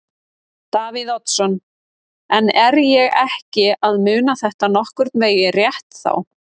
Davíð Oddsson: En er ég ekki að muna þetta nokkurn veginn rétt þá?